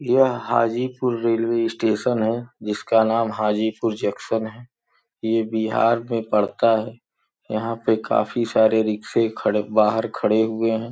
यह Hajipur railway station है जिसका नाम हाजीपुर जंक्शन है ये बिहार में पड़ता है यहां पे काफी सारे रिक्शे खड़े बाहर खड़े हुए हैं।